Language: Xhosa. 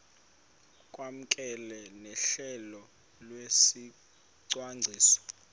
kwamkelwe nohlelo lwesicwangciso